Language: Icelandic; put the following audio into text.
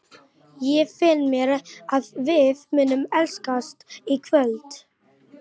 Ég finn á mér að við munum elskast í kvöld.